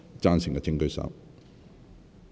贊成的請舉手。